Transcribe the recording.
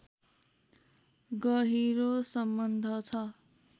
गहिरो सम्बन्ध छ